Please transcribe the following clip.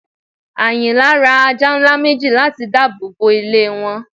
Ayìnlá rá àjà nlá mẹji làti dààbọ bọ ilẹ̀ wọn